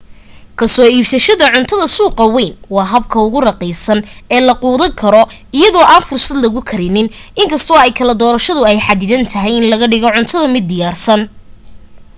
kasoo iibsashada cuntada suuqa weyn waa habka ugu raqiisan ee la quudan karo iyadoo aan fursad lagu karinin inkastoo ay kala dorasho ay xadidan tahay in laga dhigo cuntada-mid diyaarsan